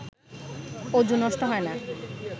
অযু নষ্ট হয় না